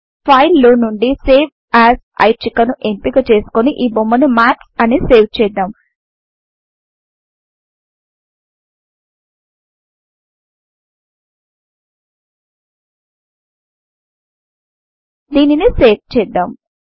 file లో నుండి save as ఐచ్ఛిక ను ఎంపిక చేసుకొని ఈ బొమ్మను మాత్స్ అని సేవ్ చేద్దాం దీనిని సేవ్ చేద్దాం